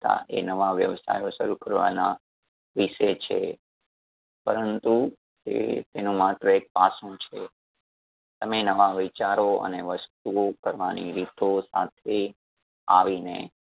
તા એ નવા વ્યવસાયો શરૂ કરવાના વિષે છે. પરંતુ એ તેનું માત્ર એક પાસું છે . તમે નવા વિચારો અને વસ્તુઓ કરવાની રીતો સાથે આવીને